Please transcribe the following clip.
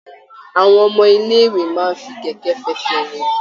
Àwọn ọmọ ilé ìwé máa fi kẹkẹ f'ẹsẹ rìn.